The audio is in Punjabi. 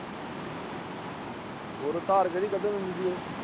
ਹੋਰ ਧਾਰ ਕਿਹੜੀ ਕੱਢਣ ਦਿੰਦੀ ਸੀ ਉਹ।